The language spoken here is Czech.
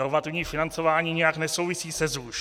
Normativní financování nijak nesouvisí se ZUŠ.